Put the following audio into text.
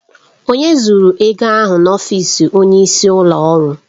Onye zuru ego ahụ n'ọfịs onyeisi ụlọ ọrụ?